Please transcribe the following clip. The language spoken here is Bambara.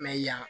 Mɛ yan